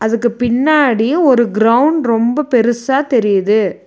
இதுக்கு பின்னாடி ஒரு கிரவுண்ட் ரொம்ப பெருசா தெரியிது.